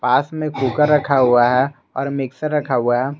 पास में कुकर रखा हुआ है और मिक्सर रखा हुआ है।